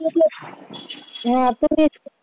एक लक्ष हम्म आता तेच